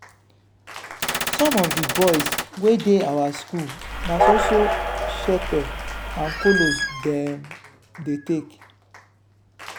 some of di boys wey dey our school na so so shepe and kolos dem dey take.